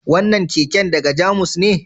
Wannan keken daga Jamus ne?